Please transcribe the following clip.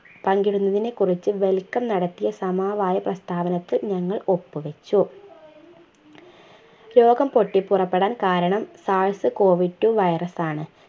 പങ്കിട്ന്നതിനെക്കുറിച് welcome നടത്തിയ സമവായ പ്രസ്‌താവനത്തിൽ ഞങ്ങൾ ഒപ്പുവെച്ചു രോഗംപൊട്ടിപുറപ്പെടാൻ കാരണം SARS Covid two virus ആണ്